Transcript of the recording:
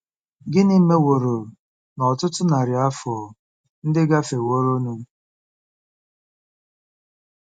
Gịnị meworo na ọtụtụ narị afọ ndị gafeworonụ?